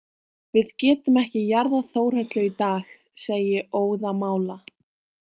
Við getum ekki jarðað Þórhöllu í dag, segi ég óðamála.